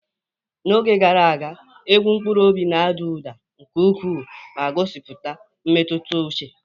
N'oge gara aga, egwu mkpụrụ obi na-ada ụda nke ukwuu ma gosipụta mmetụta uche.